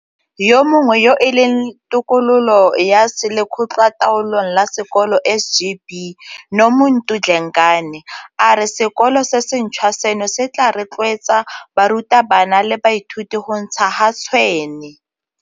Yo mongwe yo e leng tokololo ya Lekgotlataolong la Sekolo SGB, Nomuntu Dlengane, a re sekolo se sentšhwa seno se tla rotloetsa barutabana le baithuti go ntsha ga tshwene.